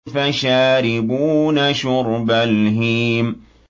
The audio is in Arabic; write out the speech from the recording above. فَشَارِبُونَ شُرْبَ الْهِيمِ